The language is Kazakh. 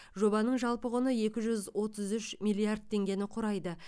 жобаның жалпы құны екі жүз отыз үш миллиард теңгені құрайды